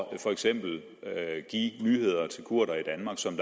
for eksempel give nyheder til kurdere i danmark som